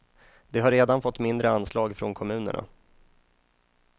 De har redan fått mindre anslag från kommunerna.